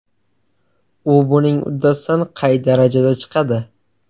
U buning uddasidan qay darajada chiqadi?